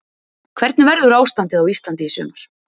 Hvernig verður ástandið á Íslandi í sumar?